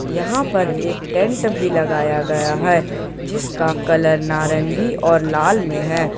यहां पर एक टेंट भी लगाया गया है जिसका कलर नारंगी और लाल में है।